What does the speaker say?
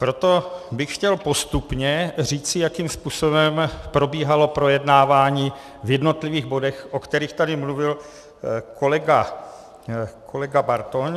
Proto bych chtěl postupně říci, jakým způsobem probíhalo projednávání v jednotlivých bodech, o kterých tady mluvil kolega Bartoň.